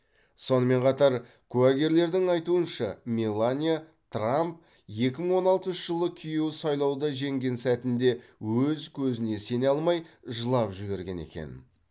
сонымен қатар куәгерлердің айтуынша мелания трамп екі мың он алтыншы жылы күйеуі сайлауда жеңген сәтінде өз көзіне сене алмай жылап жіберген екен